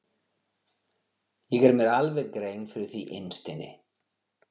Ég geri mér alveg grein fyrir því innst inni.